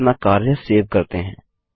चलिए अपना कार्य सेव करते हैं